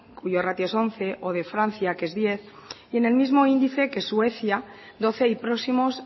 cuyo ratio es once o de francia que es diez y en el mismo índice que suecia doce y próximos